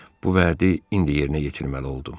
Bu vədi indi yerinə yetirməli oldum.